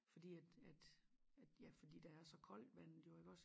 Fordi at at ja fordi der er så koldt vandet jo iggås